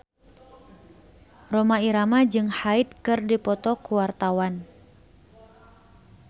Rhoma Irama jeung Hyde keur dipoto ku wartawan